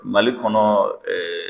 Mali kɔnɔ ɛɛ